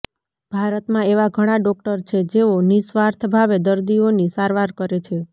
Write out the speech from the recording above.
ભારતમાં એવા ઘણા ડોક્ટર છે જેઓ નિઃસ્વાર્થભાવે દર્દીઓની સારવાર કરે છે